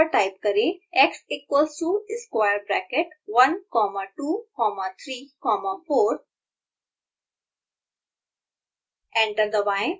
console window पर type करें x= square 1234x equals to square bracket one comma two comma three comma four